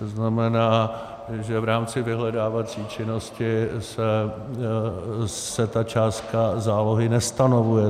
To znamená, že v rámci vyhledávací činnosti se ta částka zálohy nestanovuje.